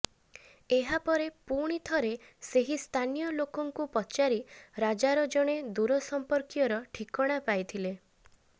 ଏହାପରେ ପୁଣିଥରେ ସେହି ସ୍ଥାନୀୟ ଲୋକଙ୍କୁ ପଚାରି ରାଜାର ଜଣେ ଦୂର ସମ୍ପର୍କୀୟର ଠିକଣା ପାଇଥିଲେ